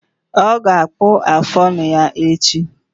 Ọ ga-akpụ afụ ọnụ ya echi